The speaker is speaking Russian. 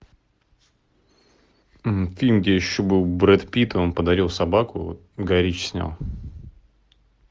фильм где еще был брэд питт он подарил собаку гай ричи снял